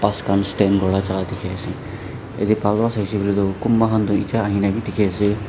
skan stand kura la ka jhaka dikhi ase etey bhal para sai sey koiley toh kunba khan toh eta ahi kena b dikey ase--